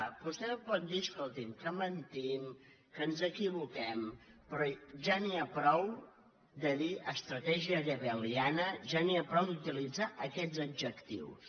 vostè em pot dir escolti’m que mentim que ens equivoquem però ja n’hi ha prou de dir estratègia goebbeliana ja n’hi ha prou d’utilitzar aquests adjectius